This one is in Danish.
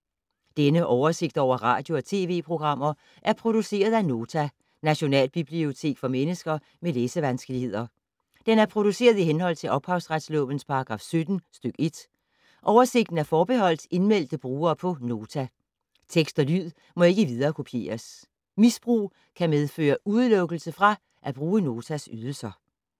Denne oversigt over radio og TV-programmer er produceret af Nota, Nationalbibliotek for mennesker med læsevanskeligheder. Den er produceret i henhold til ophavsretslovens paragraf 17 stk. 1. Oversigten er forbeholdt indmeldte brugere på Nota. Tekst og lyd må ikke viderekopieres. Misbrug kan medføre udelukkelse fra at bruge Notas ydelser.